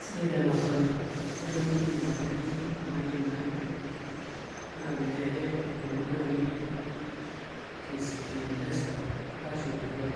Sidai taa ena swali ore naai entoki naa nadim atiaki enaayioni naa kiti naa kaidim atiaki naa pee ebol naai KCB M-pesa arashu M-shwari